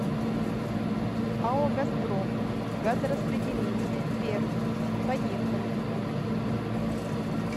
ао газпром газораспределение пермь поехали